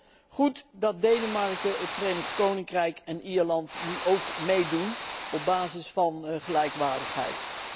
Tot slot, goed dat Denemarken, het Verenigd Koninkrijk en Ierland nu ook meedoen op basis van gelijkwaardigheid.